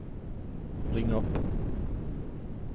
ring upp